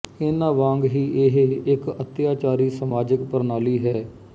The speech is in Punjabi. ਇਨ੍ਹਾਂ ਵਾਂਗ ਹੀ ਇਹ ਇੱਕ ਅੱਤਿਆਚਾਰੀ ਸਮਾਜਿਕ ਪ੍ਰਣਾਲੀ ਹੈ